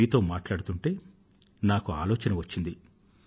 మీతో మాట్లాడుతూంటే నాకు ఆలోచన వచ్చింది